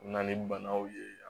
U bɛ na ni banaw ye